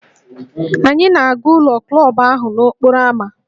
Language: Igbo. Anyị na-aga ụlọ klọb ahụ nọ n'okporo ámá